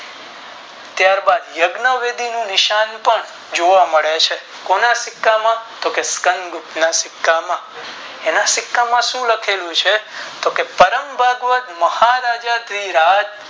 ત્યારબાદ યજ્ઞ વિધિ નું નિશાન પણ જોવા મળે છે કોના સિક્કા કે સિકંદરના સિક્કામાં એના સિક્કામાં શું લખેલું છે તો કે પરમભગ તમહારાજા યામ